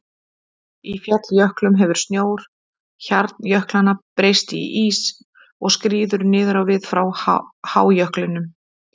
Í falljöklum hefur snjór hjarnjöklanna breyst í ís og skríður niður á við frá hájöklinum.